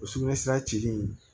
O sugunɛ sira jeli in